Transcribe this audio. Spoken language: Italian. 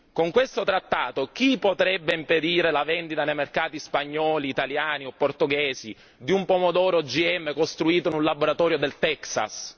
Con questo trattato, chi potrebbe impedire la vendita nei mercati spagnoli, italiani o portoghesi di un pomodoro OGM costruito in un laboratorio del Texas?